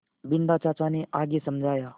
बिन्दा चाचा ने आगे समझाया